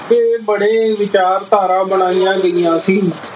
ਇਹ ਬੜੇੇ ਵਿਚਾਰਧਾਰਾ ਬਣਈਆਂ ਗਈਆਂ ਸੀ।